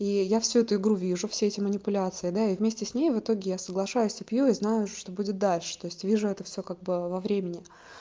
и я всю эту игру вижу все эти манипуляции да я вместе с ней в итоге я соглашаюсь цепью и знаю что будет дальше то есть вижу это всё как бы во времени